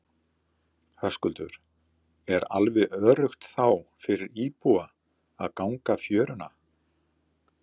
Höskuldur: Er alveg öruggt þá fyrir íbúa að ganga fjöruna?